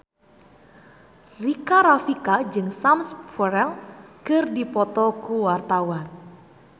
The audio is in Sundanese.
Rika Rafika jeung Sam Spruell keur dipoto ku wartawan